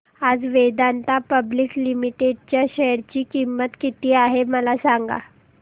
आज Vedanta public limited च्या share ची किंमत किती आहे मला सांगा